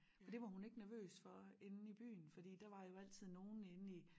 Og det var hun ikke nervøs for inde i byen fordi der var jo altid nogen inde i